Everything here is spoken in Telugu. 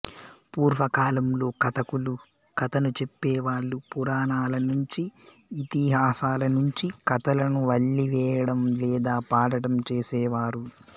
పూర్వకాలంలో కథకులు కథను చెప్పే వాళ్ళు పురాణాల నుంచీ ఇతిహాసాల నుంచీ కథలను వల్లె వేయడం లేదా పాడటం చేసేవారు